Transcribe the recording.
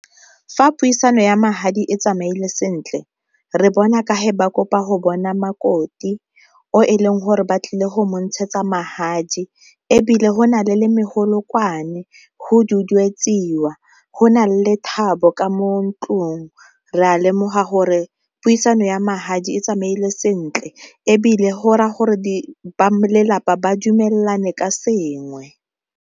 Fa puisano ya magadi e tsamaile sentle re bona ka ba kopa go bona makoti o e leng gore ba tlile go montshetsa magadi, ebile go na le le megolokwane go duduetsiwa go na lethabo ka mo ntlong re a lemoga gore puisano ya magadi e tsamaile sentle ebile go ra ya gore ba lelapa ba dumelane ka sengwe.